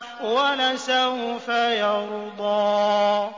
وَلَسَوْفَ يَرْضَىٰ